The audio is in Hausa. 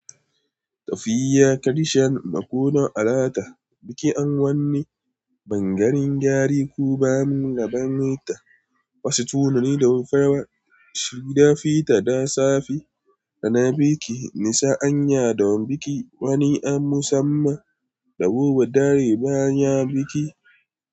Tafiya, karshen makon alata, bikin wannan bangaren gyare kuma gabanita. Wasu tunani da farawa, shida fita da safe da na biki. Nisa anya da wani biki wani an musamman da wowa dare baya biki.